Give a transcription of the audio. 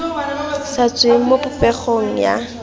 sa tsweng mo popegong ya